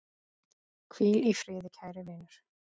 Hvíl í friði kæri vinur.